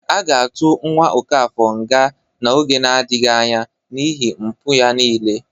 A ga-atụ nwa Ọkafọr nga n'oge nadịghị anya n'iihi mpụ ya niile